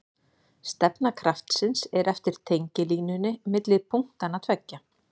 Stefna kraftsins er eftir tengilínunni milli punktanna tveggja.